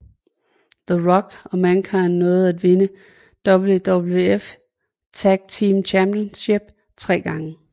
The Rock og Mankind nåede at vinde WWF Tag Team Championship tre gange